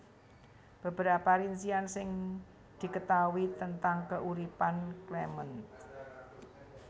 Beberapa rincian sing diketaui tentang keuripan Clement